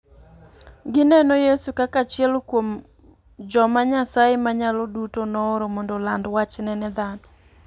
Gineno Yesu kaka achiel kuom joma Nyasaye Manyalo Duto nooro mondo oland wachne ne dhano.